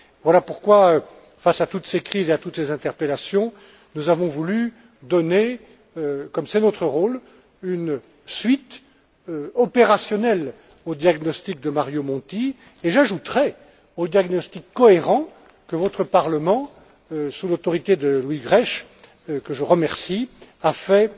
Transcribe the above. Voilà pourquoi, face à toutes ces crises et à toutes ces interpellations, nous avons voulu donner, comme c'est notre rôle, une suite opérationnelle aux diagnostics de Mario Monti, et j'ajouterais aux diagnostics cohérents que votre Parlement, sous l'autorité de Louis Grech, que je remercie, a fait,